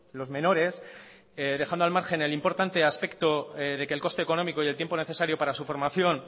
los menores dejando al margen el importante aspecto de que el coste económico y el tiempo necesario para su formación